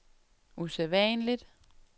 usædvanligt